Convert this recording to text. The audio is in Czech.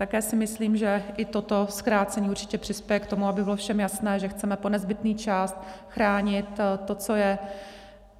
Také si myslím, že i toto zkrácení určitě přispěje k tomu, aby bylo všem jasné, že chceme po nezbytný čas chránit